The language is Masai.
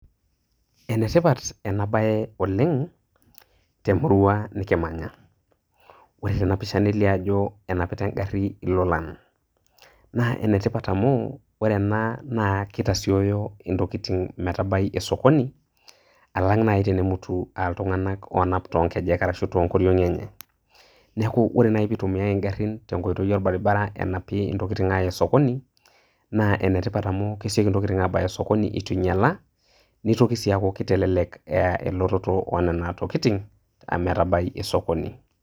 enetipat ena bae oleng temurua nikimanya. ore tenamuruua nelio ajo, enapita engari ilolan. naa enetipat amu ore ena naa itasiooyo ntokitin metabai osokoni. alang naji tenemutu altunganak oonap too nkejek arashu too nkoriong'i enye. neeku ore naaji pee itumiae igarin tenkoitoi orbaribara anapie intokitin aaa osokoni. naa enetipat amu kesioki, intokitin abaya osokonoi eitu ingiala. neitoki sii aaku keitelek elototo oo nena tokitin ometabai osokoni.